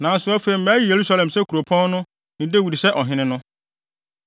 Nanso afei mayi Yerusalem sɛ kuropɔn no, ne Dawid sɛ ɔhene no.’ ”